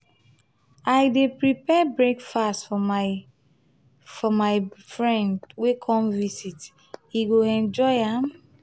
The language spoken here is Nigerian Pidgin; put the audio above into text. i dey prepare breakfast for my for my friend wey come visit; e go enjoy am.